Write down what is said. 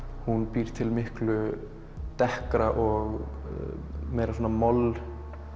býr til miklu og meira moll